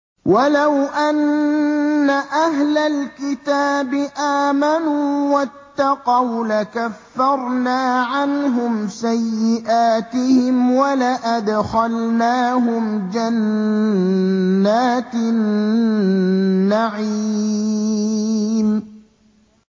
وَلَوْ أَنَّ أَهْلَ الْكِتَابِ آمَنُوا وَاتَّقَوْا لَكَفَّرْنَا عَنْهُمْ سَيِّئَاتِهِمْ وَلَأَدْخَلْنَاهُمْ جَنَّاتِ النَّعِيمِ